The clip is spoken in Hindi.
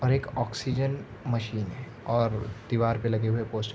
और एक ऑक्सीजन मशीन है और दीवार पे लगे हुए पोस्ट --